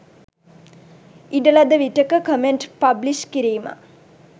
ඉඩ ලද විටෙක කමෙන්ට් පබ්ලිශ් කිරිම